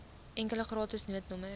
enkele gratis noodnommer